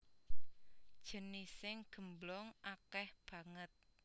Jenising gemblong akèh banget